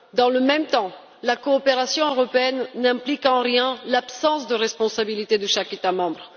Dans le même temps, la coopération européenne n'implique en rien l'absence de responsabilité de chaque État membre.